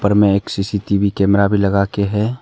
पर में एक सी_सी_टी_वी कैमरा भी लगा के है।